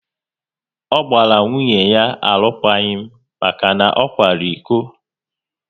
Ọ gbara nwunye ya alụkwaghịm maka na ọ kwara iko